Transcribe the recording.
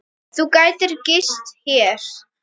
Þú gætir gist hér.